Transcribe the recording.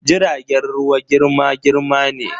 jiragen ruwa girma-girma ne.